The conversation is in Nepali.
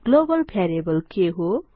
ग्लोबल भ्यारीएबल के हो